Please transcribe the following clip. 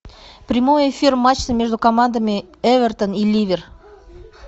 прямой эфир матча между командами эвертон и ливер